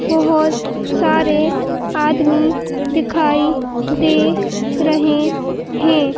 बहोत सारे आदमी दिखाई दे रहे हैं।